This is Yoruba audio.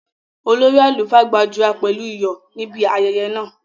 Olórí àlùfáà gbàdúrà pẹ̀lú iyọ̀ níbi ayẹyẹ náà